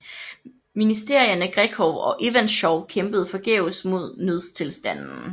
Ministerierne Grekov og Ivantschov kæmpede forgæves mod nødstilstanden